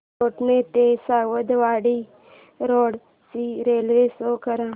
नागोठणे ते सावंतवाडी रोड ची railway show कर